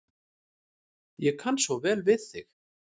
Ég kann svo vel við þig.